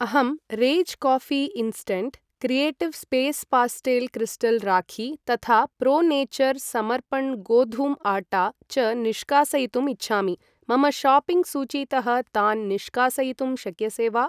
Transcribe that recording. अहं Rage coffee instant, creative space pastel crystal rakhi तथा pro nature Samarpan गोधूम आट्टा च निष्कासयितुम् इच्छामि, मम शाप्पिङ्ग् सूचीतः तान् निष्कासयितुं शक्यसे वा?